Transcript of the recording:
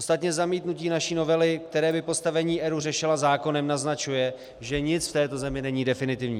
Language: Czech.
Ostatně zamítnutí naší novely, která by postavení ERÚ řešila zákonem, naznačuje, že nic v této zemi není definitivní.